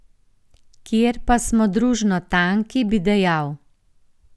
Kjer pa smo družno tanki, bi dejal.